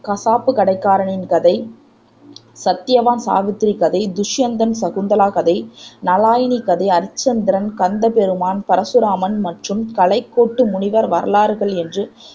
கசாப்புக் கடைக்காரரின் கதை, சத்தியவான் சாவித்திரி கதை, துசுயந்தன் சகுந்தலை கதை, நளாயினி கதை, அரிச்சந்திரன், கந்த பெருமான், பரசுராமன் மற்றும் கலைக்கோட்டு முனிவர் வரலாறுகள் என்று க்ஷ்